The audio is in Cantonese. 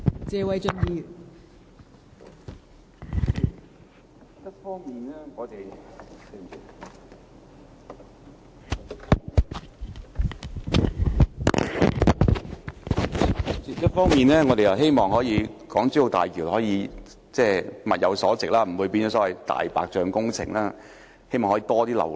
代理主席，我們一方面希望大橋物有所值，不會淪為"大白象"工程，而交通流量亦可以增加。